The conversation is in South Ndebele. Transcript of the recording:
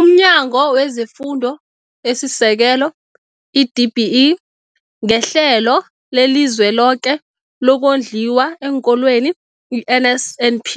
UmNyango wezeFundo esiSekelo, i-DBE, ngeHlelo leliZweloke lokoNdliwa eenKolweni, i-NSNP,